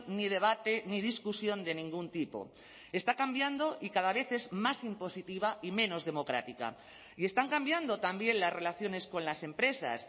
ni debate ni discusión de ningún tipo está cambiando y cada vez es más impositiva y menos democrática y están cambiando también las relaciones con las empresas